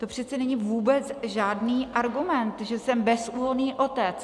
To přece není vůbec žádný argument, že jsem bezúhonný otec.